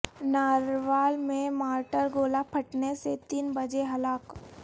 نارروال میں مارٹر گولہ پھٹنے سے تین بجے ہلاک